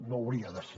no hauria de ser